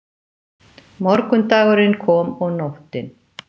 Morgundagurinn kom og nóttin.